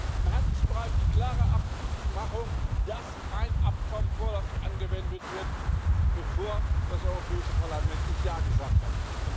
Wir haben im Handelsbereich die klare Abmachung, dass kein Abkommen vorläufig angewendet wird, bevor das Europäische Parlament ja gesagt hat.